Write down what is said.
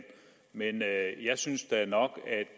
men jeg synes da nok